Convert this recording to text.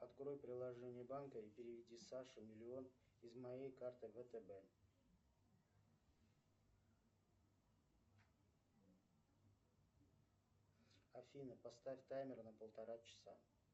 открой приложение банка и переведи саше миллион из мой карты втб афина поставь таймер на полтора часа